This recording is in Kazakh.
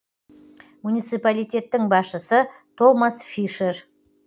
муниципалитеттің басшысы томас фишер